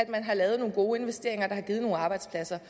man har lavet nogle gode investeringer der har givet nogle arbejdspladser